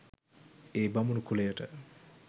ඒ බමුණු කුලයට